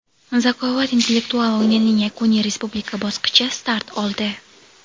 "Zakovat" intellektual o‘yinining yakuniy Respublika bosqichi start oldi.